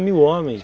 mil homens